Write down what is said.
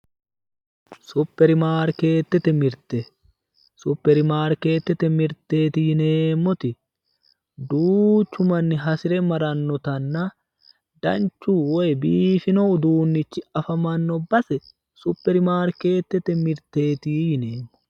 Suppermaarkeetete mirte, suppermaarkeetete mirteeti yineemmoti duuchu manni hasi're marannotanna danchu woy biifino uduunnichi afamanno base suppermaarkeetete mirteeti yineemmo